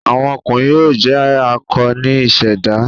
Awọn ọkunrin yoo jẹ akọ ni iseda